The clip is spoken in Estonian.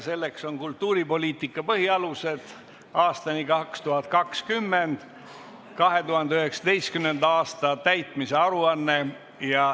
Selleks on "Kultuuripoliitika põhialused aastani 2020" 2019. aasta täitmise aruanne.